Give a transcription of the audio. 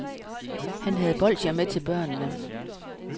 Han havde bolsjer med til børnene.